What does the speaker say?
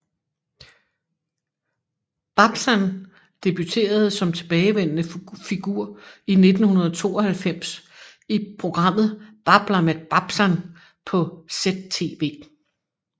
Babsan debuterede som tilbagevendende figur i 1992 i programmet Babbla med Babsan på ZTV